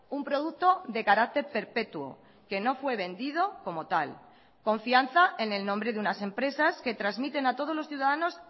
un producto de carácter perpetuo que no fue vendido como tal confianza en el nombre de unas empresas que transmiten a todos los ciudadanos